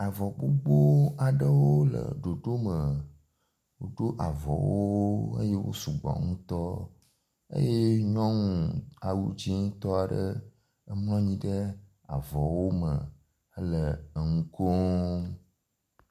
Avɔ gbogbo aɖewo le ɖoɖo me. woɖo avɔwo eye wo sugbɔ ŋutɔ eye nyɔnu awu dzi tɔ ɖe emlɔ nyi ɖe avɔwo me ehe nu kom.